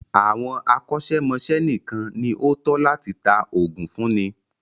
Àwọn akọ́ṣẹ́mọ́ṣẹ́ nìkan ní o tọ́ láti tá oògùn fúnni.